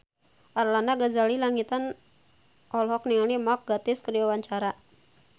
Arlanda Ghazali Langitan olohok ningali Mark Gatiss keur diwawancara